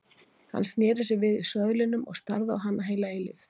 Hann sneri sér við í söðlinum og starði á hana heila eilífð.